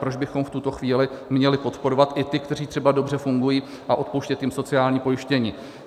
Proč bychom v tuto chvíli měli podporovat i ty, kteří třeba dobře fungují, a odpouštět jim sociální pojištění?